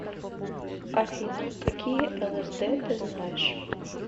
афина какие лсд ты знаешь